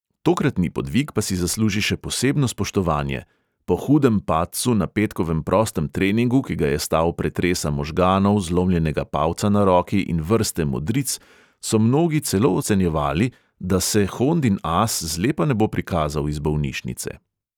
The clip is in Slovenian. Tokratni podvig pa si zasluži še posebno spoštovanje: po hudem padcu na petkovem prostem treningu, ki ga je stal pretresa možganov, zlomljenega palca na roki in vrste modric, so mnogi celo ocenjevali, da se hondin as zlepa ne bo prikazal iz bolnišnice.